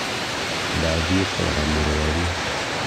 Ndathiĩ kũrora mũrwaru